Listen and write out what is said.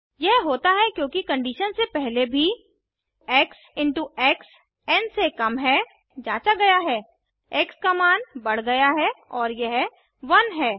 यह होता है क्योंकि कंडीशन से पहले भी x into x n से कम है जाँचा गया है एक्स का मान बढ़ गया है और यह 1 है